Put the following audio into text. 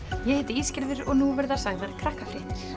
ég heiti og nú verða sagðar Krakkafréttir